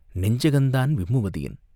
நெஞ்சகந்தான் விம்முவதேன்?